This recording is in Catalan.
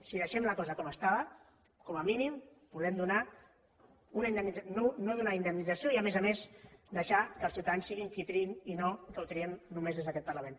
si deixem la cosa com estava com a mínim podem no donar una indemnització i a més a més deixar que els ciutadans siguin qui triïn i no que ho triem només des d’aquest parlament